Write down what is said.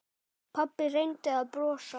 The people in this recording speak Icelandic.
Pabbi reyndi að brosa.